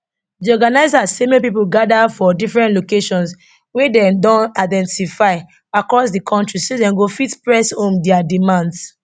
di organisers say make pipo gada for different locations wia dem don identify across di kontri so dem go fit press home dia demands